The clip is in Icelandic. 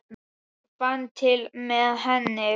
Sveinn fann til með henni.